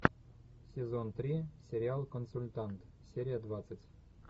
сезон три сериал консультант серия двадцать